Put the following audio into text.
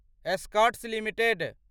Escorts limited